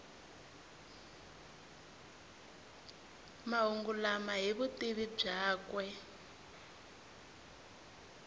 mahungu lama hi vutivi byakwe